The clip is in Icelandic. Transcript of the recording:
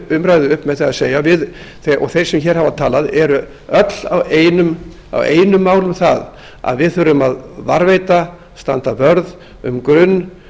umræðu upp með því að segja og þau sem hér hafa talað eru öll á einu máli um það að við þurfum að varðveita og standa vörð um